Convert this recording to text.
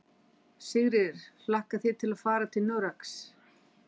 Sigurður: Hlakkar þig til að fara til Noregs?